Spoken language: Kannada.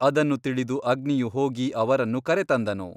ಅದನ್ನು ತಿಳಿದು ಅಗ್ನಿಯು ಹೋಗಿ ಅವರನ್ನು ಕರೆತಂದನು.